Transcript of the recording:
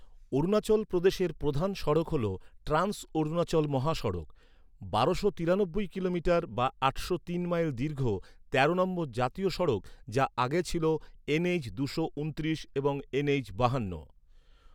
অরুণাচল প্রদেশের প্রধান সড়ক হল ট্রান্স অরুণাচল মহাসড়ক, বারোশো তিরানব্বই কিলোমিটার বা আটশো তিন মাইল দীর্ঘ তেরো নম্বর জাতীয় সড়ক যা আগে ছিল এনএইচ দুশো ঊনত্রিশ এবং এনএইচ বাহান্ন।